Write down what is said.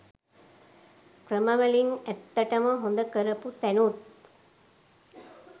ක්‍රම වලින් ඇත්තටම හොඳ කරපු තැනුත්